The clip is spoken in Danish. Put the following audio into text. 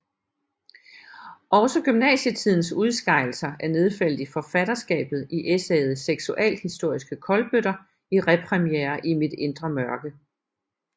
Også gymnasietidens udskejelser er nedfældet i forfatterskabet i essayet Seksualhistoriske kolbøtter i Repremiere i mit indre mørke